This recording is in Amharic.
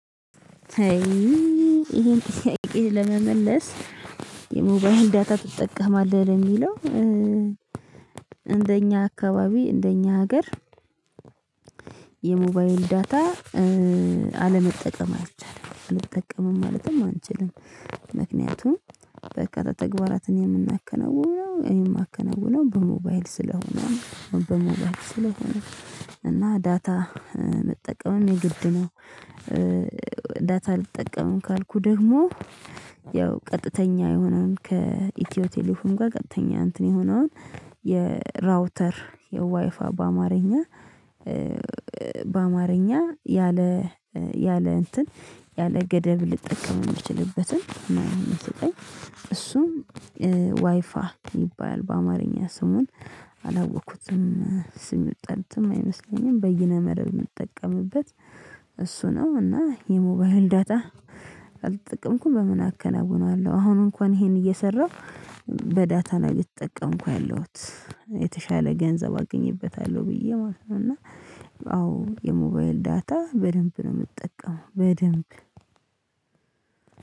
አይይ ይሄን ጥያቄ ለመመለስ የሞባይል ዳታ ትጠቀማለህ ለሚለው እንደኛ አካባቢ እንደኛ ሀገር የሞባይል ዳታ አለመጠቀም አልቻለም አልጠቀምም ማለትም አንችልም። ምክንያቱም በርካታ ተግባራትን የምናከናውነው እኔ የማከናውነው በሞባይል ስለሆነ በሞባይል ስለሆነ እና ዳታ መጠቀምን የግድ ነው። ዳታ አልጠቀምም ካልኩ ደግሞ። ያው ቀጥተኛ የሆነውን ከኢትዮ ቴሌም ጋር ቀጥተኛ እንትን የሆነውን የራውተር የዋይፋ በአማርኛ። በአማርኛ ያለ ያለ እንትን ያለ ገደብ ልጠቀም የምችልበትን። እሱም ዋይፋ ይባላል በአማርኛ ስሙን አላወቅኩትም። ስም የመጣለትም አይመስለኝም በይነ መረብ የምጠቀምበት እሱ ነው። እና የሞባይል ዳታ። ካልቸፈተጠቀምኩም በምን አከናውናለሁ አሁን እንኳን ይሄን እየሰራሁ በዳታና እየተጠቀምኩ ያለሁት የተሻለ ገንዘብ አግኝበታለሁ ብዬ ማለት ነው። እና አዎ የሞባይል ዳታ በደንብ ነው የምጠቀመው በደንብ።